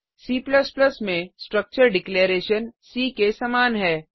C में structure declaration C के समान है